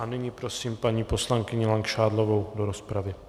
A nyní prosím paní poslankyni Langšádlovou do rozpravy.